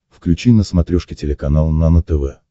включи на смотрешке телеканал нано тв